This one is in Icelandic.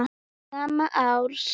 Snemma árs